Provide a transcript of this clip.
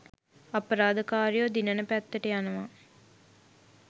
අපරාධකාරයෝ දිනන පැත්තට යනවා.